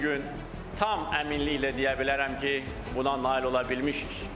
Bu gün tam əminliklə deyə bilərəm ki, buna nail ola bilmişik.